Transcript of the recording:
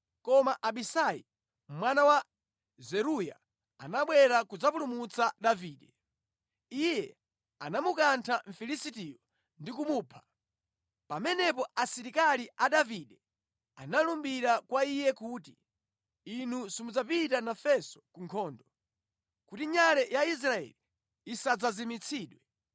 Koma Abisai mwana wa Zeruya anabwera kudzapulumutsa Davide. Iye anamukantha Mfilisitiyo ndi kumupha. Pamenepo asilikali a Davide analumbira kwa iye kuti, “Inu simudzapita nafenso ku nkhondo, kuti nyale ya Israeli isadzazimitsidwe.”